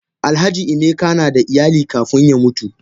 Alhaji emeka nada iyali kafun ya mutu.